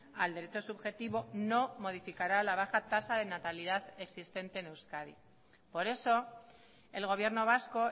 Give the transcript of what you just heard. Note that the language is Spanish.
al derecho subjetivo no modificará la baja tasa de natalidad existente en euskadi por eso el gobierno vasco